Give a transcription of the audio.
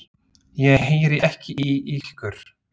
Ég heyri ekki í ykkur.